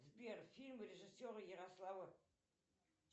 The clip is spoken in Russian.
сбер фильм режиссера ярослава